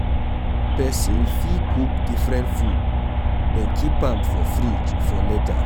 Person fit cook different food then keep am for fridge for later